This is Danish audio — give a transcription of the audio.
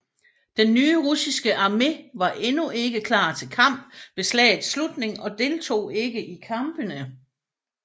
Den nye russiske armé var endnu ikke klar til kamp ved slagets slutning og deltog ikke i kampene